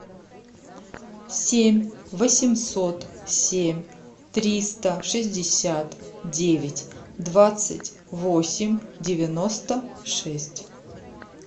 семь восемьсот семь триста шестьдесят девять двадцать восемь девяносто шесть